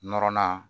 Nɔrɔnan